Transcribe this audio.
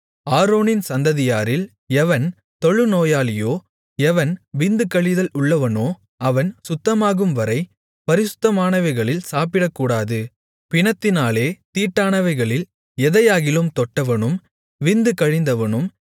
ஆரோனின் சந்ததியாரில் எவன் தொழுநோயாளியோ எவன் விந்து கழிதல் உள்ளவனோ அவன் சுத்தமாகும்வரை பரிசுத்தமானவைகளில் சாப்பிடக்கூடாது பிணத்தினாலே தீட்டானவைகளில் எதையாகிலும் தொட்டவனும் விந்து கழிந்தவனும்